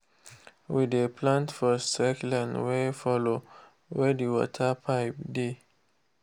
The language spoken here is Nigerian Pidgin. we dey plant for straight line wey follow where the water pipe dey.